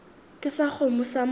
ke sa kgomo sa motho